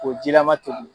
K'o jilama toli